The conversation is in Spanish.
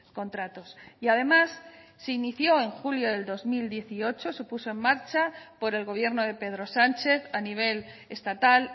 contratos y además se inició en julio del dos mil dieciocho se puso en marcha por el gobierno de pedro sánchez a nivel estatal